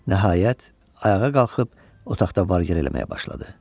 Nəhayət, ayağa qalxıb otaqda var-gəl eləməyə başladı.